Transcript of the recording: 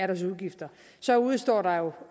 deres udgifter så udestår der